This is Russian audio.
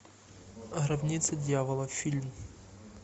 гробница дьявола фильм